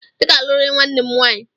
I ga-alụrịrị nwanne m nwaanyị!